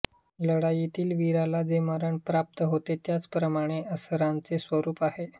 लढाईतील वीराला जे मरण प्राप्त होते त्याप्रमाणे या आसरांचे स्वरूप आहे